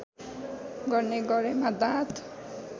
गर्ने गरेमा दाँत